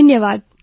ધન્યવાદ